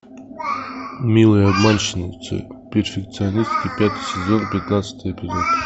милые обманщицы перфекционистки пятый сезон пятнадцатый эпизод